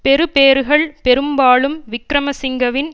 பெறுபேறுகள் பெரும்பாலும் விக்கிரமசிங்கவின்